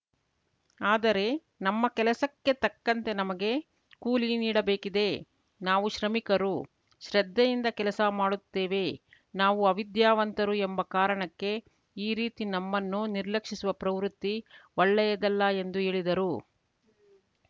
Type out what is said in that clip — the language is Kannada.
ಆದರೆ ನಮ್ಮ ಕೆಲಸಕ್ಕೆ ತಕ್ಕಂತೆ ನಮಗೆ ಕೂಲಿ ನೀಡಬೇಕಿದೆ ನಾವು ಶ್ರಮಿಕರು ಶ್ರದ್ಧೆಯಿಂದ ಕೆಲಸ ಮಾಡುತ್ತೇವೆ ನಾವು ಅವಿದ್ಯಾವಂತರು ಎಂಬ ಕಾರಣಕ್ಕೆ ಈ ರೀತಿ ನಮ್ಮನ್ನು ನಿರ್ಲಕ್ಷಿಸುವ ಪ್ರವೃತ್ತಿ ಒಳ್ಳೆಯದಲ್ಲ ಎಂದು ಹೇಳಿದರು